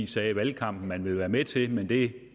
sagde i valgkampen at det ville være med til men det